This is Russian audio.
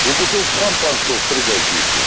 и бутылка шампанского в придачу ещё